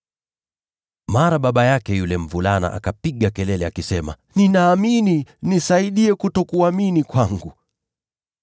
Mara baba yake yule mvulana akapiga kelele akisema, “Ninaamini. Nisaidie kutokuamini kwangu!”